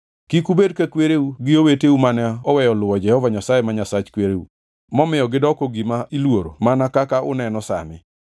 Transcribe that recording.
Kik ubed ka kwereu gi oweteu mane oweyo luwo Jehova Nyasaye ma Nyasach kwereu momiyo gidoko gima iluoro mana kaka uneno sani.